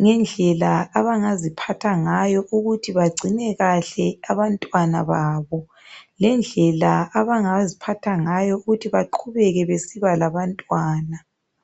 ngendlela abangaziphatha ngayo .Ukuthi bagcine kahle abantwana babo ,lendlela abangaziphatha ngayo ukuthi baqubeke besiba labantwana.